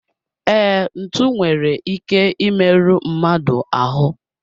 Ee, ntụ nwere ike I meru mmadụ ahu